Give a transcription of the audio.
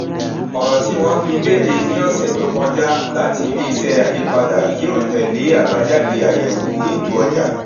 ọrọ tí wọn fi léde ní ọsẹ tó kọjá láti ilé iṣẹ àyípadà yíò tẹlé àbájáde àyẹwò ètò ọjà